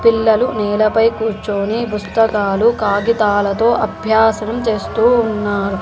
పిల్లలు నేల పై కూర్చొని పుస్తకాలు కాగితాలతో అభ్యాసం చేస్తూ ఉన్నారు.